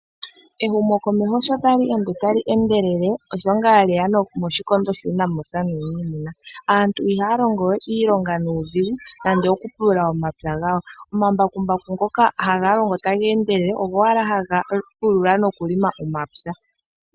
Ehumokomeho sho tali ende tali endelele osho ngaa lyeya moshikondo shuunamapya nuuniimuna. Aantu ihaya longo we iilonga nuudhigu nande oku pulula omapya gawo. Omambakumbaku ngoka haga longo taga endelele ogo owala ga pulula noku longa omapya .